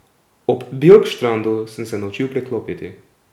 Ob Bjorkstrandu sem se naučil preklopiti.